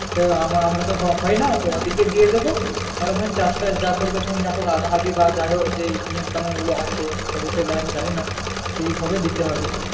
তা আমা আমরা তো হয় না তো ওদেরকে দিয়ে দেব ওরা তখন চাষ টাস যা করবে যাই হোক আধাআধি বা যাই হোক যেই নিয়ম কানুন গুলো আছে কতটা নেয় আমি জানি না সেই ভাবে দিতে হবে